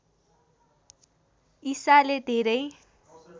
ईसाले धेरै